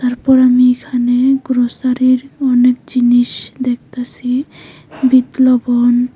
তারপর আমি এখানে গ্রোসারির অনেক জিনিস দেখতাছি বিট লবণ--